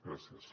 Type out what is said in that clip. gràcies